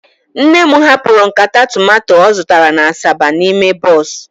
Nne'm hapụrụ nkata tomato ọ zụtara na asaba n'ime bọs